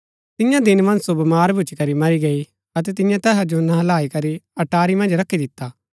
तियां दिन मन्ज सो बमार भूच्ची करी मरी गई अतै तिन्यै तैहा जो नहलाई करी अटारी मन्ज रखी दिता